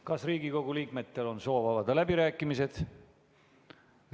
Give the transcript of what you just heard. Kas Riigikogu liikmetel on soovi avada läbirääkimised?